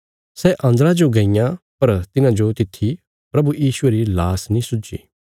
सै अन्दरा जो गईयां पर तिन्हाजो तित्थी प्रभु यीशुये री लाश नीं सुझी